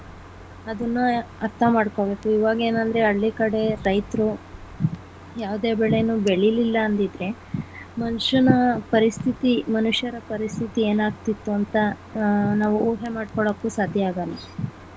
ಅದುನ್ನ ಅರ್ಥ ಮಾಡ್ಕೊಬೇಕು ಇವಾಗ ಏನಂದ್ರೆ ಹಳ್ಳಿಕಡೆ ರೈತರು ಯಾವುದೇ ಬೆಳೆನು ಬೆಳಿಲಿಲ್ಲ ಅಂದಿದ್ರೆ ಮನುಷ್ಯನ ಪರಿಸ್ಥಿತಿ ಮನುಷ್ಯರ ಪರಿಸ್ಥಿತಿ ಎನಾಗ್ಗ್ತಿತ್ತು ಅಂತ ಅಹ್ ನಾವು ಊಹೆಮಾಡ್ಕೊಳಕ್ಕೂ ಸಾಧ್ಯ ಆಗಲ್ಲ.